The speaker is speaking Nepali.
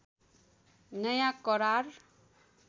नयाँ करार